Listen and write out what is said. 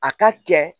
A ka kɛ